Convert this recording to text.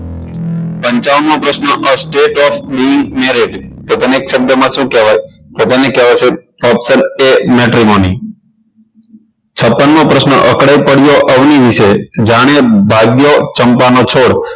પંચાવન મો પ્રશ્ન a state of blue marriage તો તેને એક શબ્દમાં શું કહેવાય તો તેને કહેવાશે option a methemony ની છપ્પન મો પ્રશ્ન અકળાઈ પડ્યો અવળી વિશે જાણે ભાગ્યો ચંપા નો છોડ